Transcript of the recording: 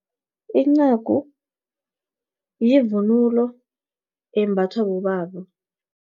Incagu, yivunulo embathwa bobaba.